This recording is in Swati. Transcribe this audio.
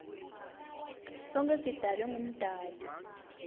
sonkhe sidalwe ngumdali